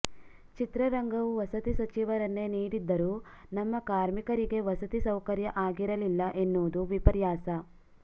ಚಿತ್ರರಂಗವು ವಸತಿ ಸಚಿವರನ್ನೇ ನೀಡಿದ್ದರೂ ನಮ್ಮ ಕಾರ್ಮಿಕರಿಗೆ ವಸತಿ ಸೌಕರ್ಯ ಆಗಿರಲಿಲ್ಲ ಎನ್ನುವುದು ವಿಪರ್ಯಾಸ